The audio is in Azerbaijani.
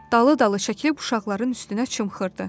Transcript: Dalı-dalı çəkilib uşaqların üstünə çımxırdı: